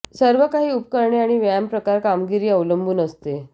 सर्व काही उपकरणे आणि व्यायाम प्रकार कामगिरी अवलंबून असते